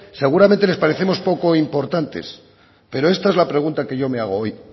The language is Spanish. seguramente les parecemos poco importantes pero esta es la pregunta que yo me hago hoy